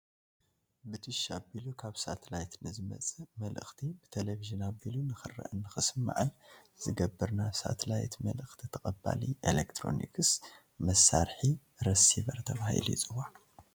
ብዲሽ ኣቢሉ ካብ ሳትላይት ንዝመፅእ መልእክቲ ብቴለቪዥን ኣቢሉ ንክርአን ንክስማዕን ዝገብር ናይ ሳይትላይት መልእኽቲ ተቐባሊ ኤለክትሮኒክ መሳርሒ ረሲቨር ተባሂሉ ይፅዋዕ፡፡